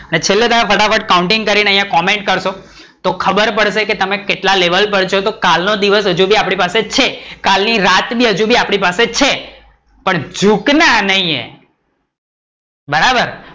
અને છેલ્લે ફટાફટ કોઉન્ટીંગ કરી ને comment કરશો તો ખબર પડશે કે તમે કેટલા લેવલ પર છો તો કાલ નો દિવસ પણ હજુ આપડી પાસે છે કાલ ની રાત પણ હજુ બી આપડી પાસે છે પણ જુકના નહીં હે, બરાબર